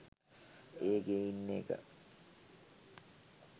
ඒකෙ ඉන්න එක